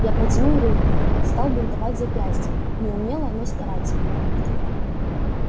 я протянул руку он стал бинтовать запястье неумело но старательно